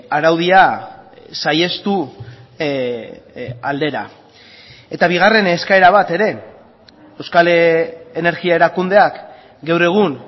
araudia saihestu aldera eta bigarren eskaera bat ere euskal energia erakundeak gaur egun